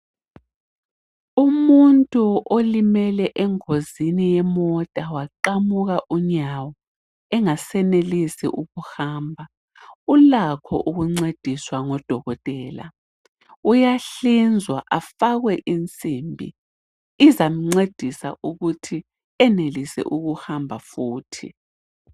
Umuntu olimele engozini yemota waqamuka unyawo engasenelisi ukuhamba ulakho ukuncediswa ngudokotela, uyahlinzwa afakwe insimbi ,izamncedisa ukuthi enelise ukuhamba futhi.